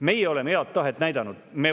Meie oleme head tahet näidanud.